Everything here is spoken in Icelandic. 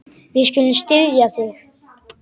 Við skulum styðja þig.